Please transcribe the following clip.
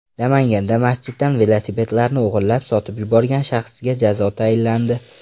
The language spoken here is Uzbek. Namanganda masjiddan velosipedlarni o‘g‘irlab, sotib yuborgan shaxsga jazo tayinlandi.